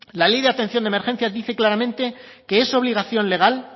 la ley de atención de emergencias dice claramente que es obligación legal